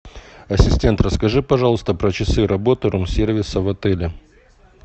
ассистент расскажи пожалуйста про часы работы рум сервиса в отеле